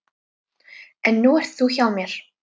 En nú ert þú hjá mér.